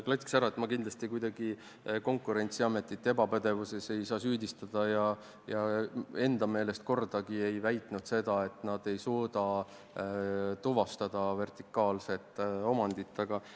Klatiks ära, et ma kindlasti ei saa Konkurentsiametit kuidagi ebapädevuses süüdistada ja enda meelest ei ole ma kordagi väitnud, et nad ei suuda vertikaalset omandit tuvastada.